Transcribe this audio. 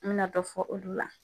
N mi na dɔ fɔ olu la.